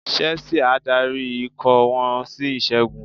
Chelsea á darí ikọ̀ wọn sí ìṣẹ́gun.